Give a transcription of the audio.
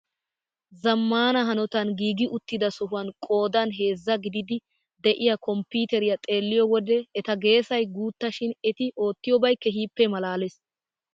Zammaana hanotan giigi uttida sohuwaan qoodan heezzaa gididi de'iyaa konppiteriyaa xeelliyoo wode eta geesay guutta shin eti oottiyoobay keehippe malalees!